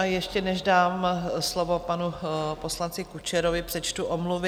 A ještě než dám slovo panu poslanci Kučerovi, přečtu omluvy.